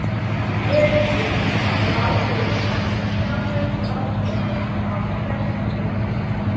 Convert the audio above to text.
Gerirðu ráð fyrir að taka sjálfur ráðherrastól á kjörtímabilinu?